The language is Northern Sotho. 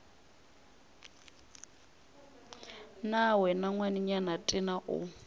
na wena ngwanenyana tena o